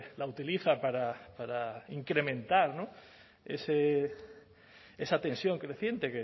la utiliza para incrementar esa tensión creciente